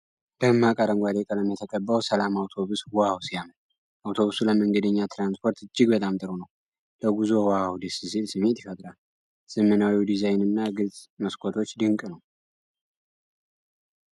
ደማቅ አረንጓዴ ቀለም የተቀባው "ሰላም አውቶቡስ" ዋው ሲያምር! አውቶቡሱ ለመንገደኛ ትራንስፖርት እጅግ በጣም ጥሩ ነው። ለጉዞ ዋው ደስ ሲል ስሜት ይፈጥራል። ዘመናዊው ዲዛይን እና ግልጽ መስኮቶች ድንቅ ነው።